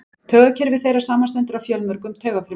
Taugakerfi þeirra samanstendur af fjölmörgum taugafrumum.